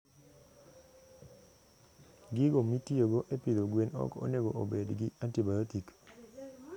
Gigo mitiyogo e pidho gwen ok onego obed gi antibiotic.